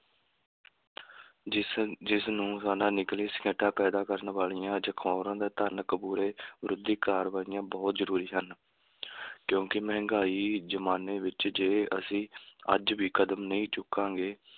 ਜਿਸ ਜਿਸਨੂੰ ਸਾਡਾ ਸ਼ਿਕਾਇਤਾਂ ਪੈਦਾ ਕਰਨ ਵਾਲੀਆਂ ਵਿਰੋਧੀ ਕਾਰਵਾਈਆਂ ਬਹੁਤ ਜ਼ਰੂਰੀ ਹਨ ਕਿਉਂਕਿ ਮਹਿੰਗਾਈ ਜ਼ਮਾਨੇ ਵਿੱਚ ਜੇ ਅਸੀਂ ਅੱਜ ਵੀ ਕਦਮ ਨਹੀਂ ਚੁੱਕਾਂਗੇ,